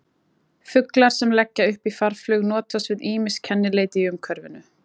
Fuglar sem leggja upp í farflug notast við ýmis kennileiti í umhverfinu.